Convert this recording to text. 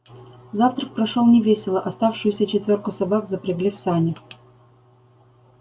завтрак прошёл невесело оставшуюся четвёрку собак запрягли в сани